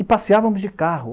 E passeávamos de carro.